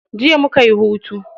Jiya mukayi hutu.